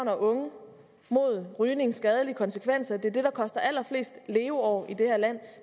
og unge mod rygningens skadelige konsekvenser det er det der koster allerflest leveår i det her land